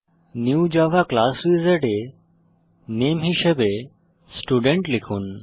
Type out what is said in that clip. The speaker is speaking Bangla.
নিউ জাভা ক্লাস উইজার্ড এ নামে হিসাবে স্টুডেন্ট লিখুন